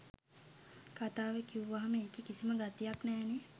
කතාව කිව්වහම ඒකෙ කිසිම ගතියක් නෑනේ.